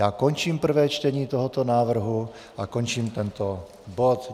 Já končím prvé čtení tohoto návrhu a končím tento bod.